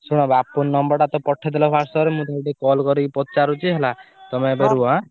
ମତେ ଟିକେ ବାପୁନ ନମ୍ବର ଟା ପଠେଇ ଦେଲ WhatsApp ରେ ମୁଁ ତାକୁ ଟିକେ call କରିକି ପଚାରୁଛି ହେଲା ତମେ ଏବେ ରୁହ।